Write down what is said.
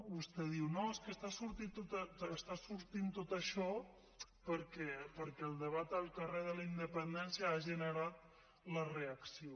vostè diu no és que està sortint tot això perquè el debat al carrer de la independència ha generat la reacció